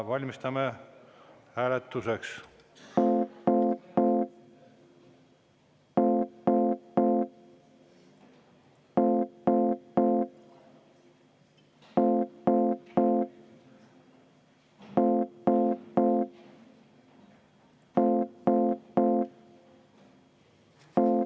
Valmistume hääletuseks.